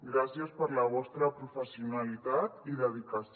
gràcies per la vostra professionalitat i dedicació